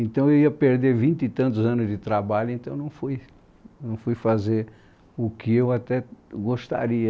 Então eu ia perder vinte e tantos anos de trabalho, então não fui, não fui fazer o que eu até gostaria.